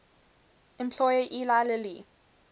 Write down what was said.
employer eli lilly